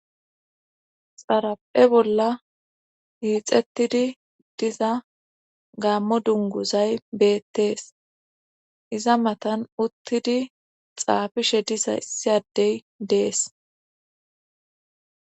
Xara"e bolla hiixettidi diza gaammo dunguzay beettees iza matan uttidi xaafishe disa issi addey dees.